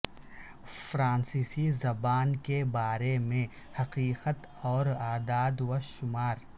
فرانسیسی زبان کے بارے میں حقیقت اور اعداد و شمار